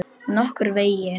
Nokkurn veginn.